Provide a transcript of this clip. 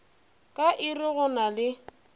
ka iri go na le